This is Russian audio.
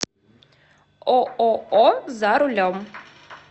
ооо за рулем